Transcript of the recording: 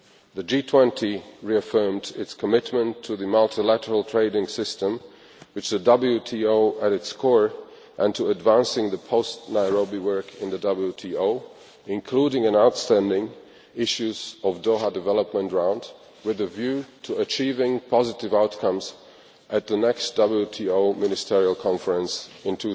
The G20 reaffirmed its commitment to the multilateral trading system, with the WTO at its core, and to advancing the post-Nairobi work in the WTO, including the outstanding issues of the Doha Development Round, with a view to achieving positive outcomes at the next WTO Ministerial Conference in